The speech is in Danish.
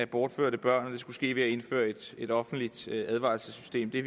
bortførte børn skulle ske ved at indføre et offentligt advarselssystem i